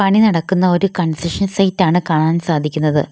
പണി നടക്കുന്ന ഒരു കൺസ്ട്രക്ഷൻ സൈറ്റാണ് കാണാൻ സാധിക്കുന്നത്.